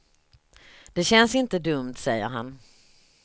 Det känns inte dumt, säger han.